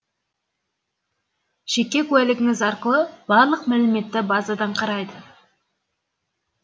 жеке куәлігіңіз арқылы барлық мәліметті базадан қарайды